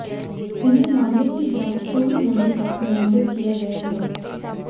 इन्हें मामले की जांच पूरी होने तक निलंबित किया गया है